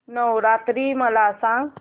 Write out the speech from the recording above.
नवरात्री मला सांगा